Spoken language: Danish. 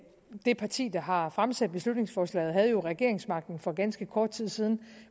det parti der har fremsat beslutningsforslaget havde jo regeringsmagten for ganske kort tid siden